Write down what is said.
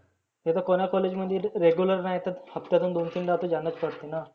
आता कोण्या college मध्ये regular नाहीतच हफत्यातुन दोन तीनदा तर जानेच पडतेना.